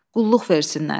Qulluq versinlər.